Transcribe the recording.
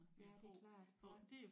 Ja det er klart ja